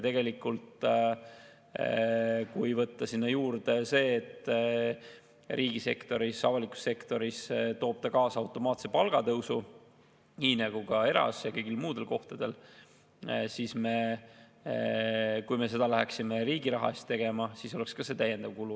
Tegelikult, kui võtta sinna juurde see, et riigisektoris, avalikus sektoris toob see kaasa automaatse palgatõusu nagu ka erasektoris ja kõigil muudel kohtadel, siis kui me seda läheksime riigi raha eest tegema, oleks see täiendav kulu.